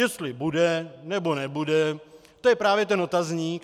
Jestli bude, nebo nebude, to je právě ten otazník.